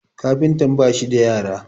kafintan ba shi da yara?